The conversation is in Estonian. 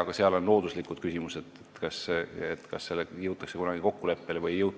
aga seal on looduslikud küsimused, milles kas kunagi jõutakse kokkuleppele või ei jõuta.